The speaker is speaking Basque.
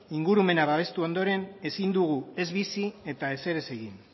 ingurumena babestu ondoren ezin dugu ez bizi ez ezer ere ez egin